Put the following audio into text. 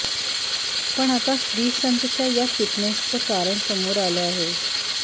पण आता श्रीसंतच्या या फिटनेसचं कारण समोर आलं आहे